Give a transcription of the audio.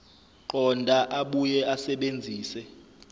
qonda abuye asebenzise